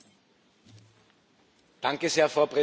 Frau Präsidentin, meine Damen und Herren!